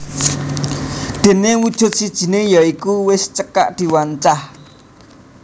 Déné wujud sijiné ya iku wis dicekak wancah